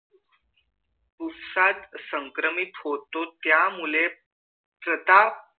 संक्रमित होतो त्यामुळे प्रताप